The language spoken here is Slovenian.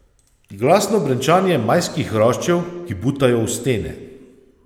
Glasno brenčanje majskih hroščev, ki butajo v stene.